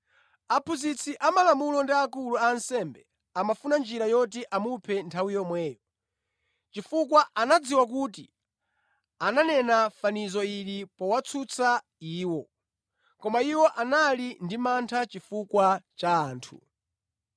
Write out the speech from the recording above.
Aphunzitsi amalamulo ndi akulu a ansembe amafuna njira yoti amuphe nthawi yomweyo, chifukwa anadziwa kuti ananena fanizo ili powatsutsa iwo. Koma iwo anali ndi mantha chifukwa cha anthu.